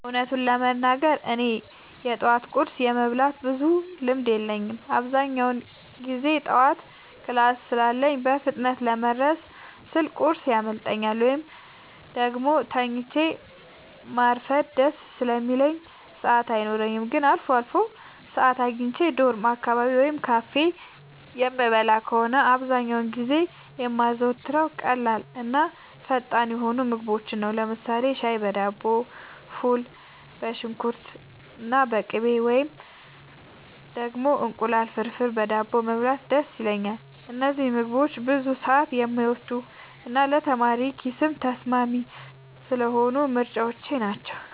እውነቱን ለመናገር እኔ የጠዋት ቁርስ የመብላት ብዙም ልምድ የለኝም። አብዛኛውን ጊዜ ጠዋት ክላስ ስላለኝ በፍጥነት ለመድረስ ስል ቁርስ ያመልጠኛል፤ ወይም ደግሞ ተኝቶ ማርፈድ ደስ ስለሚለኝ ሰዓት አይኖረኝም። ግን አልፎ አልፎ ሰዓት አግኝቼ ዶርም አካባቢ ወይም ካፌ የምበላ ከሆነ፣ አብዛኛውን ጊዜ የማዘወትረው ቀላልና ፈጣን የሆኑ ምግቦችን ነው። ለምሳሌ ሻይ በዳቦ፣ ፉል በሽንኩርትና በቅቤ፣ ወይም ደግሞ እንቁላል ፍርፍር በዳቦ መብላት ደስ ይለኛል። እነዚህ ምግቦች ብዙ ሰዓት የማይወስዱና ለተማሪ ኪስም ተስማሚ ስለሆኑ ምርጫዎቼ ናቸው።